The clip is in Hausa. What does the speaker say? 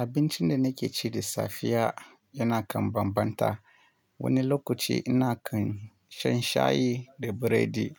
Abincin da nake ci da safiya yana kan bambanta. Wani lokaci ina kan shan shayi da biredi,